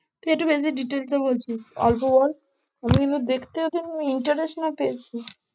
তুই একটু বেশি details এ বলছিস, অল্প বল আমি কিন্তু দেখতে তেমন interest না পেয়েছি।